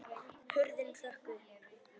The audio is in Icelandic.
Hurðin hrökk upp!